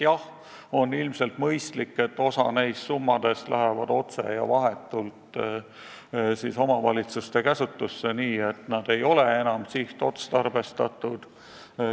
Jah, on ilmselt mõistlik, et osa neist summadest läheb otse ja vahetult omavalitsuste käsutusse, nii et nad ei ole enam sihtotstarbestatud.